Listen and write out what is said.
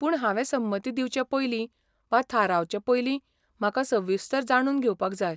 पूण हांवें संमती दिवचे पयलीं वा थारावचे पयलीं, म्हाका सविस्तर जाणून घेवपाक जाय.